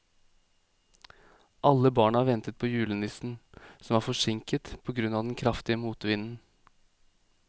Alle barna ventet på julenissen, som var forsinket på grunn av den kraftige motvinden.